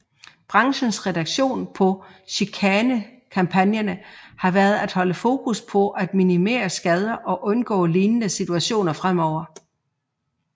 Branchens reaktion på chikanekampagnerne har været at holde fokus på at minimere skader og undgå lignende situationer fremover